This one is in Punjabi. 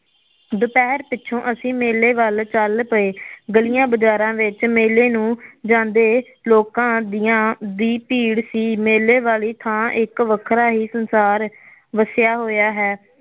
ਦਪਹਿਰ ਪਿਛੋਂ ਅਸੀ ਮੇਲੇ ਵੱਲ ਚੱਲ ਪਏ ਗਲਿਆ ਬਜ਼ਾਰਾ ਵਿਚ ਮੇਲੇ ਨੂੰ ਜਾਦੇ ਲੋਕਾ ਦੀਆ ਦੀ ਭੀੜ ਸੀ ਮੇਲੇ ਵਾਲੀ ਥਾਂ ਇਕ ਵੱਖਰਾ ਹੀ ਸੰਸਾਰ ਵੱਸਿਆ ਹੋਇਆ ਹੈ